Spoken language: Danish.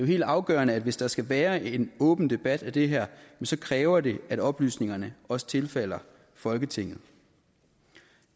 helt afgørende hvis der skal være en åben debat af det her så kræver det at oplysningerne også tilfalder folketinget